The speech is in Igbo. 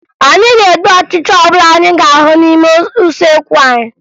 Anyị ga-egbu ọchịcha ọbụla anyị ga-ahụ n'ime usekwu anyị